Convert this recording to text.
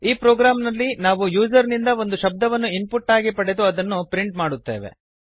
ಈ ಪ್ರೊಗ್ರಾಮ್ ನಲ್ಲಿ ನಾವು ಯೂಸರ್ ಇಂದ ಒಂದು ಶಬ್ದವನ್ನು ಇನ್ಪುಟ್ ಆಗಿ ಪಡೆದು ಅದನ್ನು ಪ್ರಿಂಟ್ ಮಾಡುತ್ತೇವೆ